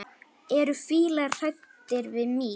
Eru fílar hræddir við mýs?